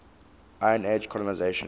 iron age colonisation